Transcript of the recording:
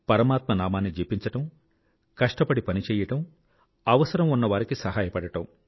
పరమాత్మ నామాన్ని జపించడం కష్టపడి పని చెయ్యి అవసరం ఉన్నవారికి సహాయపడడం